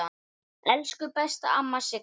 Elsku besta amma Sigga.